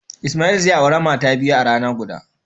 Ismail zai aure mata biyu a rana guda.